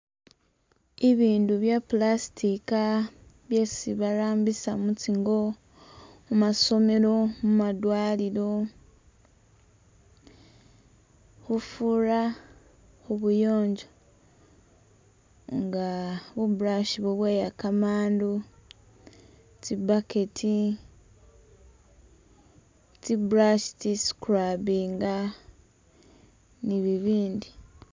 Ibindu bya plastica byesi barambisa mu tsingo, mu masomelo, mu madwaliro, khufura khu buyonjo nga bu brush bubweya kamandu, tsi bucket, tsi brush tsi scubbinga, ni bibindi.